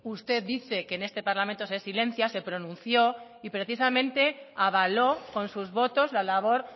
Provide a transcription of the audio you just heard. usted dice que este parlamento se silencia se pronuncióy precisamente avaló con sus votos la labor